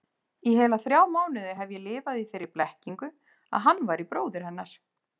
Í heila þrjá mánuði hef ég lifað í þeirri blekkingu að hann væri bróðir hennar.